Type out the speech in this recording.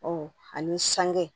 Ɔ ani sange